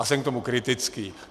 A jsem k tomu kritický.